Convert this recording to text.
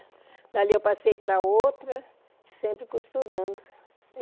Dali eu passei para outra, sempre costurando.